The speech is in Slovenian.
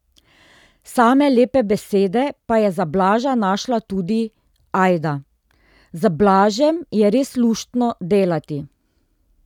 Same lepe besede pa je za Blaža našla tudi Ajda: 'Z Blažem je res luštno delati.